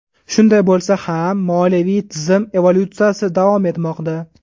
Shunday bo‘lsa ham, moliyaviy tizim evolyutsiyasi davom etmoqda.